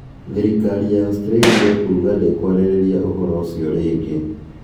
"Thirikari ya Australia kuuga ndikwaririria ũhoro ũcio rĩngĩ" ũhoro ũcio kuuga